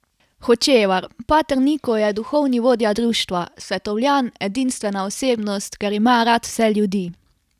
Hočevar: "Pater Niko je duhovni vodja društva, svetovljan, edinstvena osebnost, ker ima rad vse ljudi.